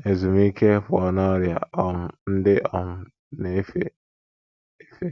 ‘ n’ezumike ’ pụọ n’ọrịa um ndị um na - efe efe.